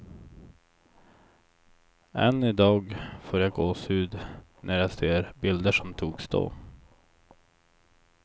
Än idag får jag gåshud, när jag ser bilder som togs då.